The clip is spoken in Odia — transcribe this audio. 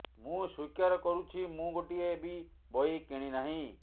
ମୁଁ ସ୍ୱୀକାର କରୁଛି ମୁଁ ଗୋଟିଏ ବି ବହି କିଣି ନାହିଁ